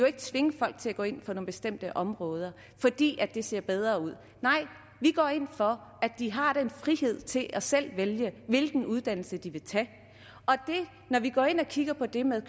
ikke tvinge folk til at gå ind på nogle bestemte områder fordi det ser bedre ud nej vi går ind for at de har friheden til selv at vælge hvilken uddannelse de vil tage og når vi går ind og kigger på det med